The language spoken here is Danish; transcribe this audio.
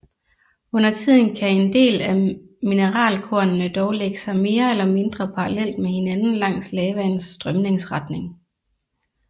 Undertiden kan en del af mineralkornene dog lægge sig mere eller mindre parallelt med hinanden langs lavaens strømningsretning